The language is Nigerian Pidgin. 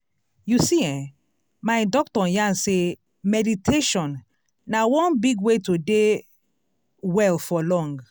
you see eh my doctor yarn sey meditation na one big way to dey well for long.